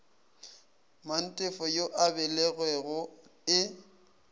mantefo yo a belegwego e